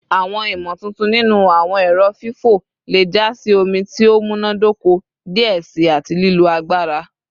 Awọn imotuntun ninu awọn ẹrọ fifọ le ja si omi ti o munadoko diẹ sii ati lilo agbara